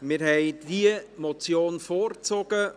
Wir haben diese Motion vorgezogen,